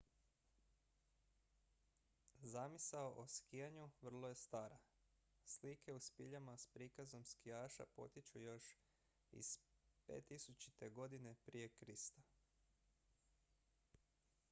zamisao o skijanju vrlo je stara slike u spiljama s prikazom skijaša potječu još iz 5000. godine prije krista